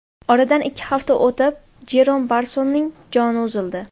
Oradan ikki hafta o‘tib Jerom Barsonning joni uzildi.